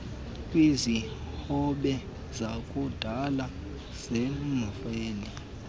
kwesihobe sakudala semveli